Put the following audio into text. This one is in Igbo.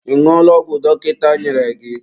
Ị ñụọla ọgwụ dọkịta nyere gị?